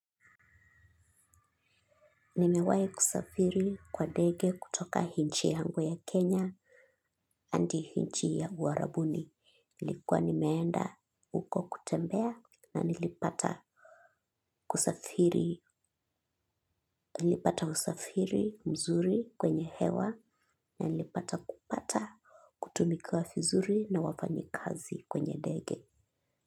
Nimewahi kusafiri kwa ndege kutoka inchi yangu ya Kenya hadi inchi ya uarabuni ilikuwa nimeenda huko kutembea na nilipata kusafiri. Nilipata usafiri mzuri kwenye hewa na nilipata kupata kutumika vizuri na wafanyi kazi kwenye ndege.